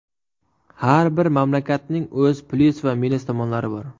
Har bir mamlakatning o‘z plyus va minus tomonlari bor.